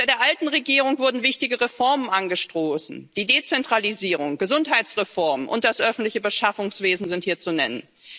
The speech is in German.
Unter der alten Regierung wurden wichtige Reformen angestoßen Die Dezentralisierung, die Gesundheitsreform und das öffentliche Beschaffungswesen sind hier zu nennen.